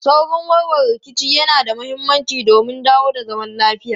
Saurin warware rikici yana da mahimmanci don dawo da zaman lafiya.